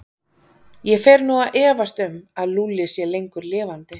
Ég fer nú að efast um að Lúlli sé lengur lifandi.